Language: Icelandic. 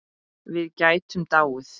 Við gætum dáið.